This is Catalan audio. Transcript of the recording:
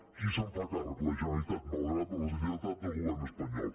qui se’n fa càrrec la generalitat malgrat la deslleialtat del govern espanyol